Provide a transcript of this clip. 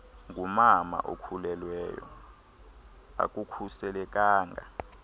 ngumama okhulelweyo akukhuselekanga